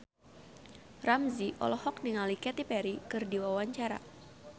Ramzy olohok ningali Katy Perry keur diwawancara